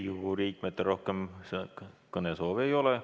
Riigikogu liikmetel rohkem kõnesoove ei ole.